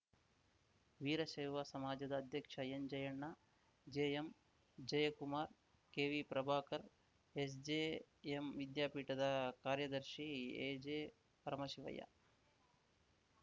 ವೀರಶೈವ ಸಮಾಜದ ಅಧ್ಯಕ್ಷ ಎನ್‌ಜಯಣ್ಣ ಜೆಎಂಜಯಕುಮಾರ್‌ KV Prabhakar SJM ವಿದ್ಯಾಪೀಠದ ಕಾರ‍್ಯದರ್ಶಿ ಎಜೆಪರಮಶಿವಯ್ಯ